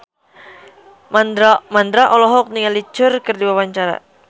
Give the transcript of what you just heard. Mandra olohok ningali Cher keur diwawancara